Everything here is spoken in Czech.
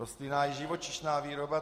Rostlinná i živočišná výroba.